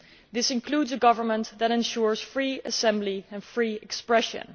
This includes a government that ensures free assembly and free expression.